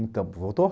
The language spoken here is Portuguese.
Então, voltou?